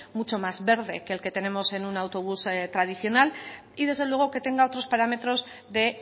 mucho más verde que el que tenemos en un autobús tradicional y desde luego que tenga otros parámetros de